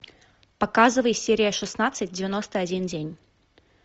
показывай серия шестнадцать девяносто один день